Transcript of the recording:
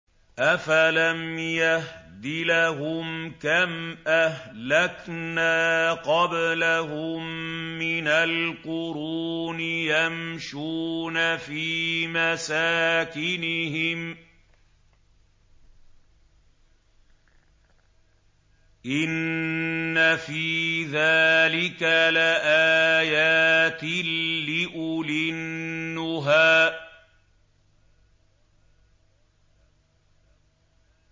أَفَلَمْ يَهْدِ لَهُمْ كَمْ أَهْلَكْنَا قَبْلَهُم مِّنَ الْقُرُونِ يَمْشُونَ فِي مَسَاكِنِهِمْ ۗ إِنَّ فِي ذَٰلِكَ لَآيَاتٍ لِّأُولِي النُّهَىٰ